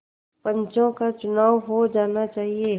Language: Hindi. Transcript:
पंचों का चुनाव हो जाना चाहिए